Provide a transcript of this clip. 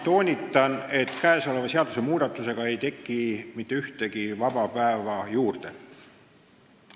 Toonitan, et kõnealuse seadusmuudatusega ei teki mitte ühtegi vaba päeva juurde.